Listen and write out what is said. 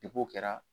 Depi o kɛra